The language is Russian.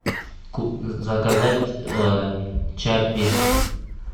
заказать чаппи